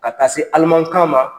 Ka taa se alimakan ma